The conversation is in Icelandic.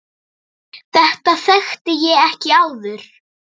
Þetta þekkti ég ekki áður.